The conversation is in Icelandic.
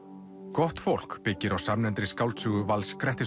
gott fólk byggir á samnefndri skáldsögu Vals